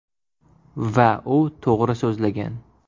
Va u to‘g‘ri so‘zlagan.